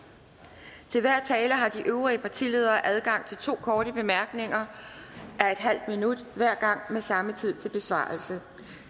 til hver tale har de øvrige partiledere adgang til to korte bemærkninger af en halv minut hver gang med samme tid til besvarelse